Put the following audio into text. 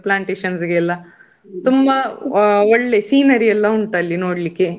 Plantation ಗೆ ಎಲ್ಲಾ. ತುಂಬಾ ಒಳ್ಳೆ scenery ಎಲ್ಲಾ ಉಂಟು ಅಲ್ಲಿ ನೋಡ್ಲಿಕ್ಕೆ.